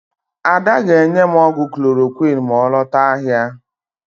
Ada ga-enye m ọgwụ klorokwịn ma ọ lota ahịa.